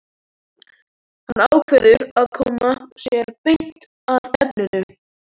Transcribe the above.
Hann ákveður að koma sér beint að efninu.